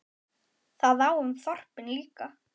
Það á um þorpin líka.